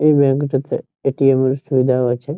এই ব্যাঙ্ক -টা তে এ.টি.এম. এর সুবিধাও আছে ।